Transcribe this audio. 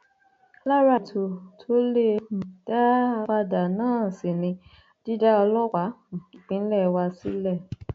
lára ètò tó lè um dá a padà náà sì ni dídá ọlọpàá um ìpínlẹ wa sílẹ